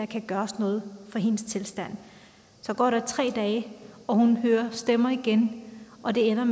kan gøres noget for hendes tilstand så går der tre dage hun hører stemmer igen og det ender